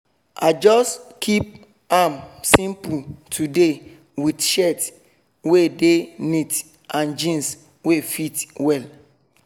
i just keep am simple today with shirt wey dey neat and jeans wey fit well